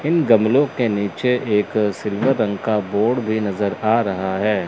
इन गमलों के नीचे एक सिल्वर रंग का बोर्ड भी नजर आ रहा है।